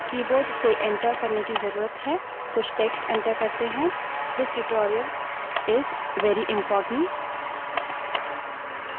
कुछ text enter करें this tutorial is very important यह tutorial बहुत महत्वपूर्ण है